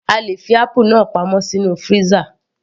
A lè fi apple náà pamọ́ sínú freezer